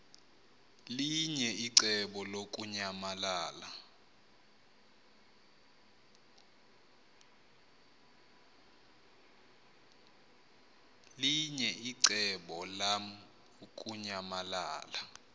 linye icebo lamukunyamalala